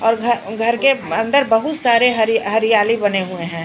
और घघर के अंदर बहुत सारे हरहरियाली बने हुए हैं।